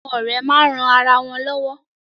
Àwọn ọ̀rẹ́ máa ń ran ara wọn lọ́wọ́.